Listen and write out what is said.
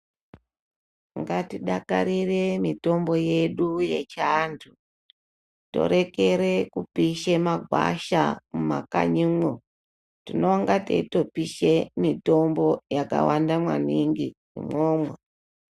Ngatidakarire mitombo yedu yechiantu torekera kupisha magwasha mumakanyimo tinonga teitopisha mitombo yakawanda maningi imwomwo.